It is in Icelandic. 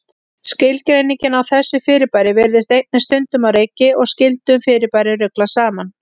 Skilgreiningin á þessu fyrirbæri virðist einnig stundum á reiki og skyldum fyrirbærum ruglað saman.